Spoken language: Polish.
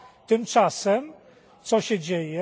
Tymczasem, co się dzieje?